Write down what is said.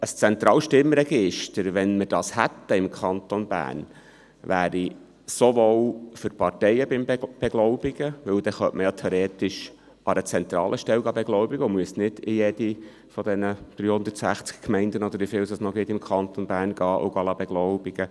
Wenn wir ein zentrales Stimmregister im Kanton Bern hätten, wäre dies für die Parteien beim Beglaubigen praktisch, denn man könnte die Unterschriften an einer zentralen Stelle beglaubigen und müsste nicht an 350 Gemeinden – oder wieviele es im Kanton Bern noch gibt – gelangen.